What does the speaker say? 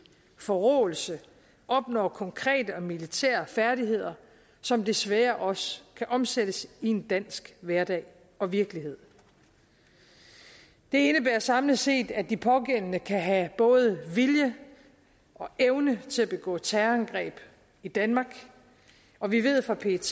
forråelse opnår konkrete og militære færdigheder som desværre også kan omsættes i en dansk hverdag og virkelighed det indebærer samlet set at de pågældende kan have både vilje og evne til at begå terrorangreb i danmark og vi ved fra pet